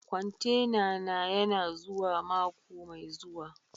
Kwantena na yana zuwa mako mai zuwa.